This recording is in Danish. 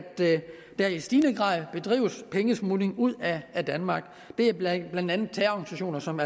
der i stigende grad bedrives pengesmugling ud af danmark det er blandt andet terrororganisationer som